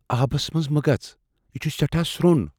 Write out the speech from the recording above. آبس منز مہٕ گژھ ۔ یہِ چھٗ سیٹھاہ سو٘ن ۔